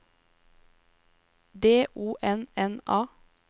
D O N N A